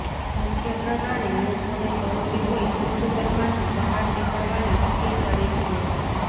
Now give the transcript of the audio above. મુખ્યપ્રધાને લોકોને જરૂરી હોય તો જ ઘરમાંથી બહાર નીકળવાની અપીલ કરી છે